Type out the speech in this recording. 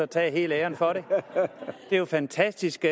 tage hele æren for det det er jo fantastisk